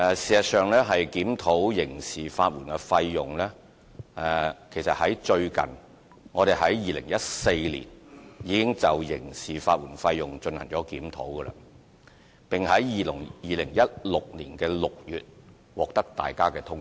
事實上，我們於2014年已經就刑事法援費用進行檢討，並於2016年6月獲得大家通過。